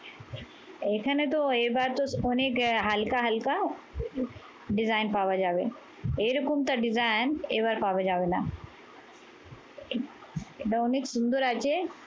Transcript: এখানে তো এবার তো অনেক আহ হালকা হালকা design পাওয়া যাবে। এরকমটা design এবার পাওয়া যাবে না। এটা অনেক সুন্দর আছে